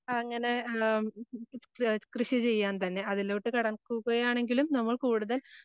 അങ്ങനെ ആഹ് ഏഹ് കൃഷി ചെയ്യാൻ തന്നെ അതിനോട് കടക്കുകയാണെങ്കിലും